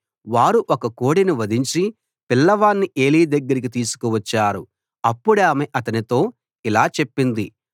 వారు ఒక కోడెను వధించి పిల్లవాణ్ణి ఏలీ దగ్గరకి తీసుకు వచ్చారు అప్పుడామె అతనితో ఇలా చెప్పింది